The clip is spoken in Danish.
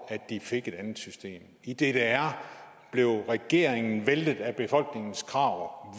at de fik et andet system i ddr blev regeringen væltet af befolkningens krav